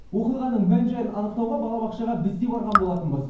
оқиғаның мән жайын анықтауға балабақшаға біз де барған болатынбыз